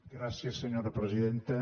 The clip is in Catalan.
gràcies senyora presidenta